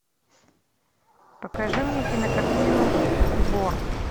покажи мне кинокартину вор